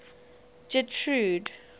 getrude